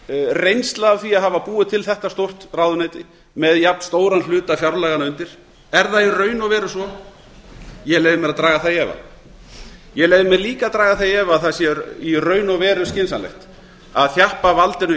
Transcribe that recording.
reynsla af því að hafa búið til þetta stórt ráðuneyti með jafnstóran hluta fjárlaganna undir er það í raun og veru svo ég leyfi mér líka að draga það í efa að það sé í raun og veru skynsamlegt að þjappa valdinu